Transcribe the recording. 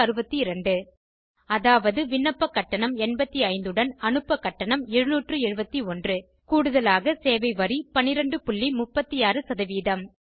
96200 அதாவது விண்ணப்ப கட்டணம் 8500 உடன் அனுப்ப கட்டணம் 77100 கூடுதலாக சேவை வரி 1236